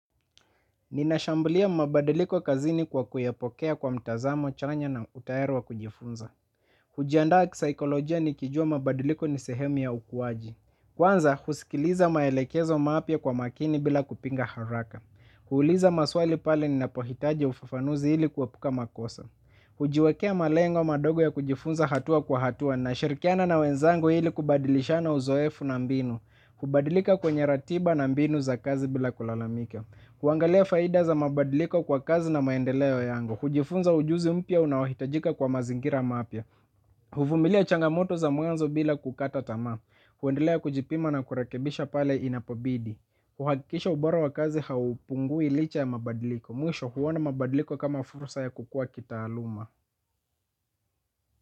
Ninashambulia mabadiliko kazini kwa kuyapokea kwa mtazamo chanya na utaera wa kujifunza. Hujiandaa kisaikolojia nikijua mabadiliko nisehemu ya ukuwaji. Kwanza, husikiliza maelekezo mapya kwa makini bila kupinga haraka. Huuliza maswali pale ninapohitaji ufafanuzi hili kuepuka makosa. Hujiwekea malengo madogo ya kujifunza hatua kwa hatua na shirkiana na wenzangu hili kubadilisha na uzoefu na mbinu. Hubadilika kwenye ratiba na mbinu za kazi bila kulalamika. Huangalia faida za mabadliko kwa kazi na maendeleo yangu. Hujifunza ujuzi mpya unaohitajika kwa mazingira mapya huvumilia changamoto za mwanzo bila kukata tamaa huendelea kujipima na kurekebisha pale inapobidi uhakikisha ubora wa kazi haupungui licha ya mabadiliko mwisho huona mabadiliko kama fursa ya kukua kitaaluma.